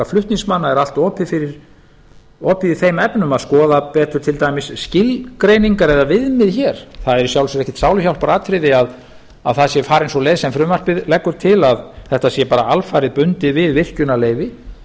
flutningsmanna er allt opið í þeim efnum að skoða betur til dæmis skilgreiningar eða viðmið hér það er í sjálfu sér ekkert sáluhjálparatriði að það sé farin sú leið sem frumvarpið leggur til að þetta sé bara alfarið bundið við virkjunarleyfi